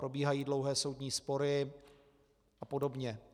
Probíhají dlouhé soudní spory a podobně.